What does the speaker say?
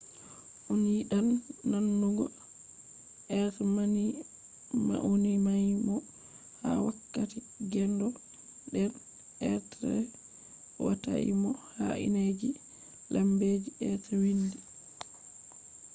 a yidan nanugo be mauninaimo ha wakkati gendo den be watai mo ha indeji lambeji be wiindi